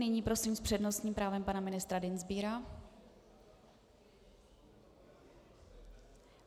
Nyní prosím s přednostním právem pana ministra Dienstbiera.